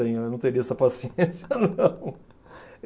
Eu não teria essa paciência, não.